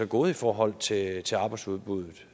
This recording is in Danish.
gået i forhold til til arbejdsudbuddet